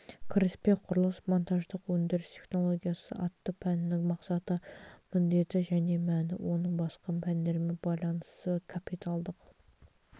кіріспе құрылыс монтаждық өндіріс технологиясы атты пәнінің мақсаты міндеті және мәні оның басқа пәндермен байланысы капиталдық